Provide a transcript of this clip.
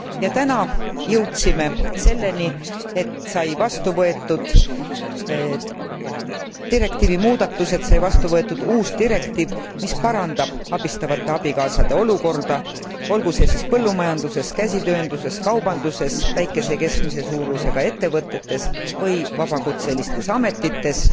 Ja täna jõudsime selleni, et said vastu võetud direktiivi muudatused, sai vastu võetud uus direktiiv, mis parandab abistavate abikaasade olukorda, olgu see siis põllumajanduses, käsitöönduses, kaubanduses, väikese ja keskmise suurusega ettevõtetes või vabakutselistes ametites.